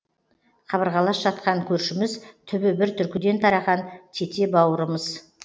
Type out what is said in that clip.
қабырғалас жатқан көршіміз түбі бір түркіден тараған тете бауырымыз